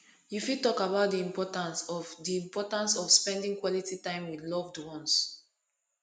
you fit talk about di importance of di importance of spending quality time with loved ones